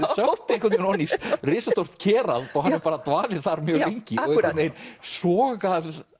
einhvern veginn ofan í risastórt og hann hefur dvalið þar mjög lengi og einhvern veginn sogað